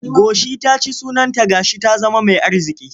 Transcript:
Goshi ta ci sunanta ga shi ta zama mai arziƙi.